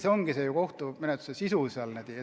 See ongi kohtumenetluse sisu.